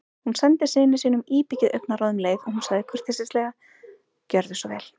Hún sendi syni sínum íbyggið augnaráð um leið og hún sagði kurteislega: Gjörðu svo vel